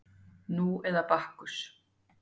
Nú eða Bakkus